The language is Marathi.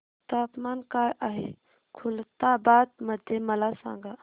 तापमान काय आहे खुलताबाद मध्ये मला सांगा